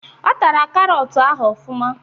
Ọ tara karọt ahụ ofụma